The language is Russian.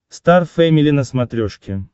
стар фэмили на смотрешке